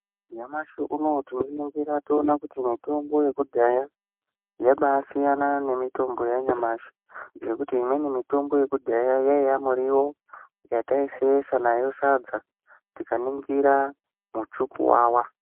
Nyamushi unowo tinoningira toona kuti mutombo yekudhaya yakasiyana nemitombo yanyamashi ngekuti imweni mitombo yekudhaya yaiya muriwo yataisesa nayo sadza tikaningira muchukuwawa.